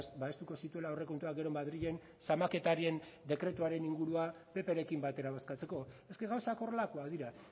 babestuko zituela aurrekontuak gero madrilen zamaketarien dekretuaren ingurua pprekin batera bozkatzeko eske gauzak horrelakoak dira